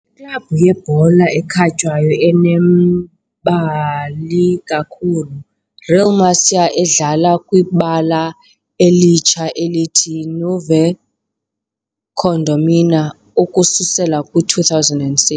Iklabhu yebhola ekhatywayo enembali kakhulu Real Murcia, edlala kwibala elitsha elithi " "Nueva Condomina" " ukususela kwi-2006.